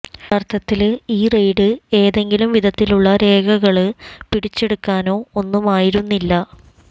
യഥാര്ത്ഥത്തില് ഈ റെയ്ഡ് ഏതെങ്കിലും വിധത്തിലുള്ള രേഖകള് പിടിച്ചെടുക്കാനോ ഒന്നുമായിരുന്നില്ല